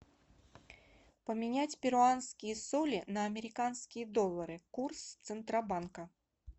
поменять перуанские соли на американские доллары курс центробанка